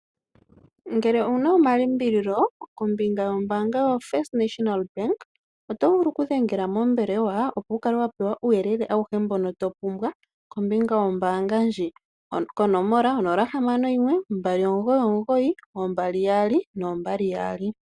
Ngele ouna omalimbililo kombinga yombaanga yotango yopashigwana, oto vulu ku kala wa dhengela mombelewa, opo wu pewe uuyelele, auhe mbono to pumbwa kombinga yo mbaanga ndji. Onomola 0612992222